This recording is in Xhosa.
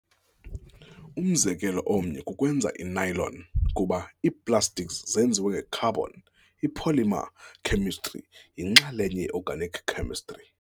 Umzekelo omnye kukwenza i-nylon. kuba ii-plastics zenziwe ngee-carbon, i-polymer khemistri yinxalenye ye-organic chemistry.